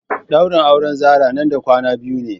daurin auren Zarah nan da kwana biyu ne.